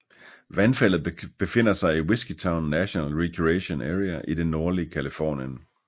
Vandfaldet befinder sig i Whiskeytown National Recreation Area i det nordlige Californien